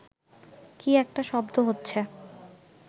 কি একটা শব্দ হচ্ছে